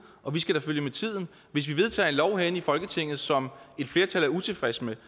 og vi skal da følge med tiden hvis vi vedtager en lov herinde i folketinget som et flertal er utilfreds med